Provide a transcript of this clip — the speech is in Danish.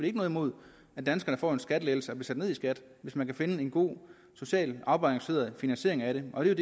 ikke noget imod at danskerne får en skattelettelse og bliver sat ned i skat hvis man kan finde en god socialt afbalanceret finansiering af det og det er